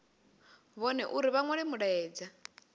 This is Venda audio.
vhone uri vha nwale mulaedza